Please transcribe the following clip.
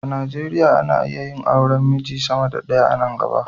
A Nigeriya ana iya yin auren miji sama da ɗaya a nan gaba.